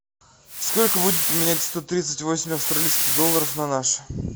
сколько будет поменять сто тридцать восемь австралийских долларов на наши